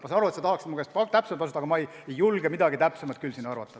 Ma saan aru, et sa tahaksid mu käest täpset vastust, aga ma ei julge midagi täpsemat siin praegu arvata.